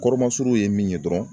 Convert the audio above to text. Kɔrɔmasurun ye min ye dɔrɔn